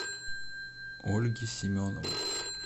ольги семеновой